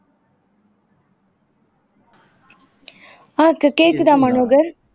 ஆஹ் இப்ப கேக்குதா மனோகர்